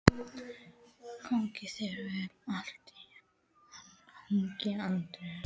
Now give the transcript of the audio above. Gangi þér allt í haginn, Anders.